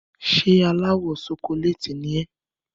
Ṣé aláwọ̀ ṣokoléètì ni ẹ́?